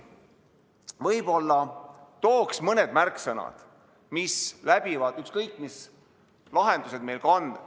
Võib-olla tooks mõned märksõnad, mis on läbivad, ükskõik mis lahendused meil ka on.